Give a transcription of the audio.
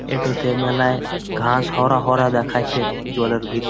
এতো ঘাস হরা ভরা দেখাচ্ছে জলের ভিতর।